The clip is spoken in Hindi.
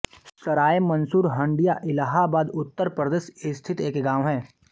सराय मंसूर हंडिया इलाहाबाद उत्तर प्रदेश स्थित एक गाँव है